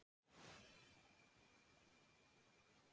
Vilhelmína greiddi rekstur heimilisins.